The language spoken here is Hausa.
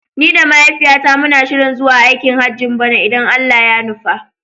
Ni da mahaifiyata muna shirin zuwa aikin Hajjin bana idan Allah ya nufa.